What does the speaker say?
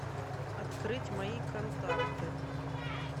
открыть мои контакты